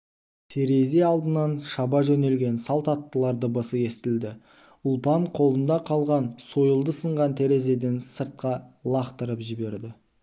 терезе алдынан шаба жөнелген салт аттылар дыбысы естілді ұлпан қолында қалған сойылды сынған терезеден сыртқа лақтырып жіберді